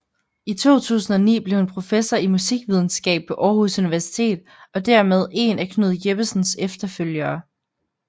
I 2009 blev hun professor i Musikvidenskab på Aarhus Universitet og dermed én af Knud Jeppesens efterfølgere